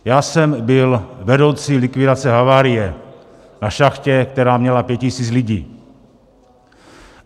Já jsem byl vedoucí likvidace havárie na šachtě, která měla 5 tisíc lidí.